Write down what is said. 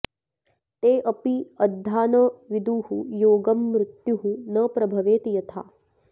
ते अपि अद्धा न विदुः योगं मृत्युः न प्रभवेत् यथा